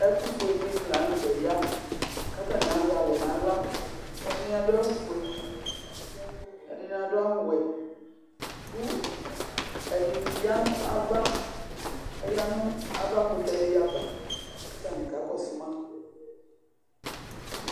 Ɛtʋfue dɩnɩ la nʋ tɛ kʋ atanɩ azɛ alɛ nʋ aɣla Ɛdɩnɩ adʋ awʋfue, ɛdɩnɩ adʋ awʋwɛ kʋ ɛdɩnɩ ya nʋ ava Aya nʋ avakʋtɛ dɩ ava kʋ atanɩ kakɔsʋ ma